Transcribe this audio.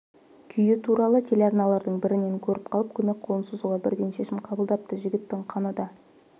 күйі туралы телеарналардың бірінен көріп қалып көмек қолын созуға бірден шешім қабылдапты жігіттің қаны да